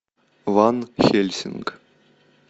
ван хельсинг